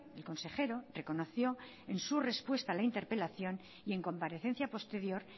el consejero reconoció en su respuesta a la interpelación y en comparecencia posterior